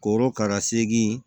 Korokara segi